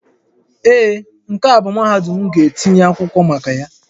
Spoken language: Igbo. Ee, nke a bụ mahadum m ga-etinye akwụkwọ maka ya